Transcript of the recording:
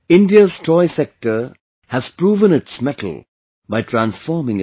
India's toy sector has proven its mettle by transforming itself